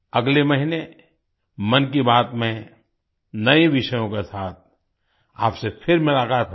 अगले महीने मन की बात में नए विषयों के साथ आपसे फिर मुलाक़ात होगी